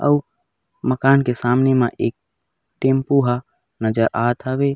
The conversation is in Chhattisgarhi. अऊ मकान के सामने म एक टेम्पो ह नज़र आत हवे।